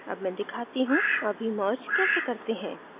अब मैं दिखाती how अभी merge कैसे करते हैं